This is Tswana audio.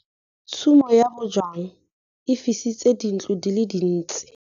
Tshumô ya bojang e fisitse dintlo di le dintsi.